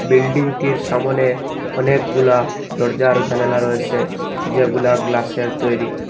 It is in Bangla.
বিল্ডিং -টির সামোনে অনেকগুলা দরজা আরো জানালা রয়েসে যেগুলা গ্লাস -এর তৈরি।